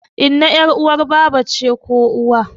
Inna ƴar uwar baba ce ko uwa